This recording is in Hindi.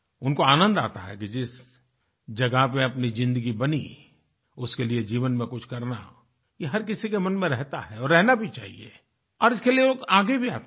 उनको आनंद आता है कि जिस जगह पर अपनी ज़िन्दगी बनी उसके लिए जीवन में कुछ करना ये हर किसी के मन में रहता है और रहना भी चाहिएऔर इसके लिए लोग आगे भी आते हैं